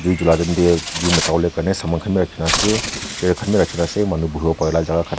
julai time de jui motai bole karne saman khan b rakhi na ase chair khan b rakhi na ase manu buhi bole pare jaga khan.